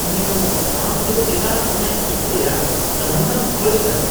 U. ᱟᱢ ᱫᱚ ᱪᱮᱫᱟᱜ ᱤᱧᱟᱜ ᱤᱡᱽ ᱨᱮᱭᱟᱜ ᱱᱟᱹᱢᱩᱱᱟᱢ ᱠᱷᱚᱡ ᱠᱟᱱᱟ ?